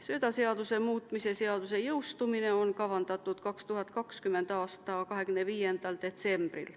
Söödaseaduse muutmise seaduse jõustumine on kavandatud 2020. aasta 25. detsembrile.